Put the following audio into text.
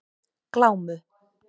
Glámu